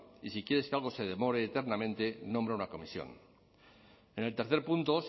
y si quieres que algo se demore eternamente nombra una comisión en el tercer punto